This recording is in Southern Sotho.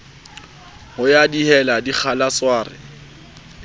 ho ya dihela dikgala sware